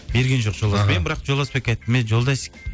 берген жоқ мен бірақ жолдасбекке айттым эй жолдасик